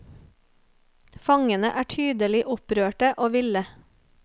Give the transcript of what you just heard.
Fangene er tydelig opprørte og ville.